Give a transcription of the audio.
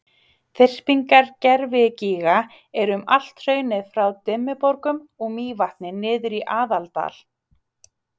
þyrpingar gervigíga eru um allt hraunið frá dimmuborgum og mývatni niður í aðaldal